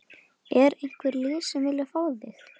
Er einhver lið sem að vilja fá þig?